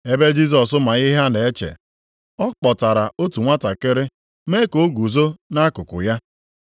Ebe Jisọs ma ihe ha na-eche, ọ kpọtara otu nwantakịrị mee ka o guzo nʼakụkụ ya.